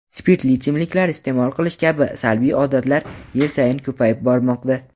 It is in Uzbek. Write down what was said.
spirtli ichimliklar iste’mol qilish kabi salbiy odatlar yil sayin ko‘payib bormoqda.